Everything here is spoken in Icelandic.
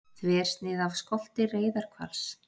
Þversnið af skolti reyðarhvals.